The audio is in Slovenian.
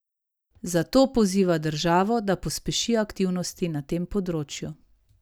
Zato poziva državo, da pospeši aktivnosti na tem področju.